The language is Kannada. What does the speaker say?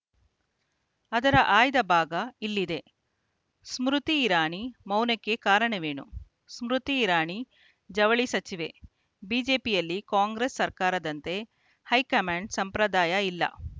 ಅದರ ಆಯ್ದ ಭಾಗ ಇಲ್ಲಿದೆ ಸ್ಮೃತಿ ಇರಾನಿ ಮೌನಕ್ಕೆ ಕಾರಣವೇನು ಸ್ಮೃತಿ ಇರಾನಿ ಜವಳಿ ಸಚಿವೆ ಬಿಜೆಪಿಯಲ್ಲಿ ಕಾಂಗ್ರೆಸ್‌ ಸರ್ಕಾರದಂತೆ ಹೈಕಮಾಂಡ್‌ ಸಂಪ್ರದಾಯ ಇಲ್ಲ